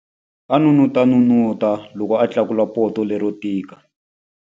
A n'unun'uta loko a tlakula poto lero tika.